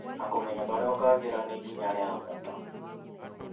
na kũmenya harĩa ũkagĩĩra nĩ ikinya rĩa bata.